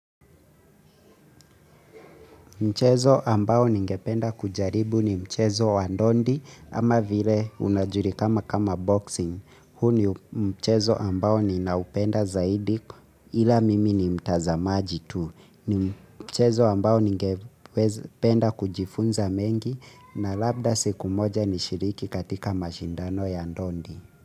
Mchezo ambao ningependa kujaribu ni mchezo wa ndondi ama vile unajulikana kama boxing. Huu ndio mchezo ambao ninaupenda zaidi ila mimi ni mtazamaji tu. Ni mchezo ambao ningependa kujifunza mengi na labda siku moja nishiriki katika mashindano ya ndondi.